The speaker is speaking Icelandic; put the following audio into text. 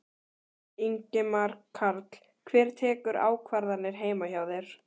Ingimar Karl: Hver tekur ákvarðanir heima hjá þér?